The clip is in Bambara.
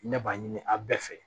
Ne b'a ɲini a bɛɛ fɛ